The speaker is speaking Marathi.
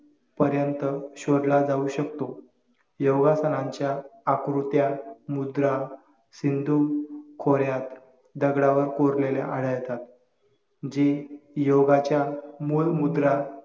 पर्यंत शोधला जाऊ शकतो योगासनांच्या आकृत्या, मुद्रा, सिंधू खोऱ्यात दगडावर कोरलेल्या आळ्या येतात जी योगाच्या मुलमुद्रा